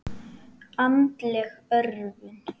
Andleg örvun.